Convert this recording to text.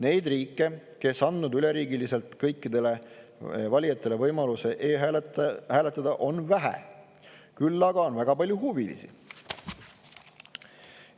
Neid riike, kes on andnud üleriigiliselt kõikidele valijatele võimaluse e-hääletada, on vähe, küll aga on väga palju huvilisi.